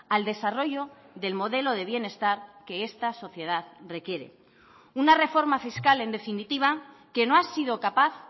al desarrollo del modelo de bienestar que esta sociedad requiere una reforma fiscal en definitiva que no ha sido capaz